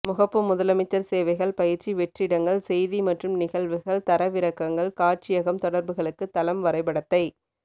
முகப்பு முதலமைச்சர் சேவைகள் பயிற்சி வெற்றிடங்கள் செய்தி மற்றும் நிகழ்வுகள் தரவிறக்கங்கள் காட்சியகம் தொடர்புகளுக்கு தளம் வரைபடத்தை